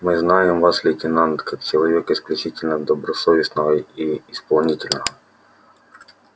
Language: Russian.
мы знаем вас лейтенант как человека исключительно добросовестного и исполнительного